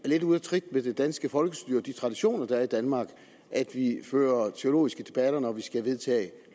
er lidt ude af trit med det danske folkestyre og de traditioner der er i danmark at vi fører teologiske debatter når vi skal vedtage